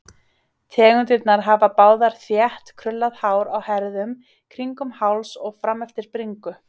Tegundirnar hafa báðar þétt, krullað hár á herðum, kringum háls og frameftir bringu.